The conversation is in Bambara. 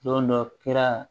Don dɔ kɛra